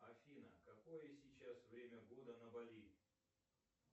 афина какое сейчас время года на бали